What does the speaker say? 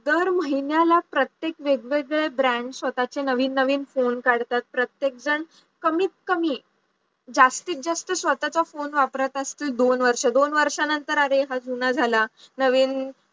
दर महिन्याला प्रत्येक वेगवेगळे brands स्वतःचे नवीन नवीन phone काढतात प्रत्येक जण कमीत कमी जास्तीत जास्त स्वतःचा phone वापरत असतं दोन वर्ष, दोन वर्षानंतर अरे हा जुना झाला नवीन